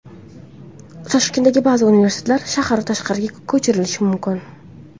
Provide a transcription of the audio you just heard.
Toshkentdagi ba’zi universitetlar shahar tashqarisiga ko‘chirilishi mumkin.